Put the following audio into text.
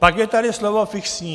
Pak je tady slovo "fixní".